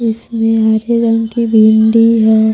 इसमें हरे रंग की भिंडी है।